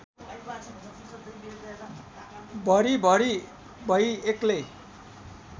भरिभरि भई एक्लै